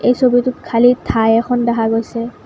ছবিটোত খালি ঠাই এখন দেখা গৈছে।